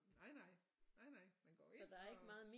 Nej nej nej nej man går ind og